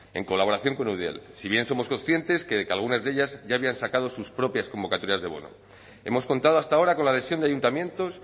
en colaboración con eudel si bien somos conscientes de que algunas de ellas ya habían sacado sus propias convocatorias de bono hemos contado hasta ahora con la adhesión de ayuntamientos